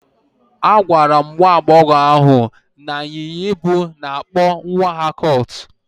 Agwara m nwa agbọghọ ahụ na ịnyịnya ibu na-akpọ nwa ha colt.